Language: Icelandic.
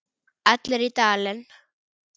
Allir í Dalinn!